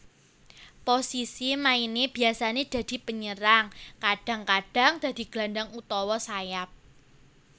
Posisi maine biasane dadi penyerang kadang kadang dadi gelandang utawa sayap